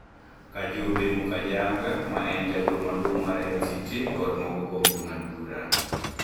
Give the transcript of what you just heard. Kajubi Mukajanga, ma en jagoro maduong ' mar MCT, kod moko kuom jong'ad-bura